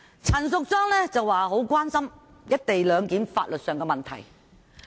陳淑莊議員表示很關心"一地兩檢"在法律上的問題。